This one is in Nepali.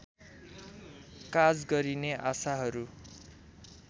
काज गरने आशाहरू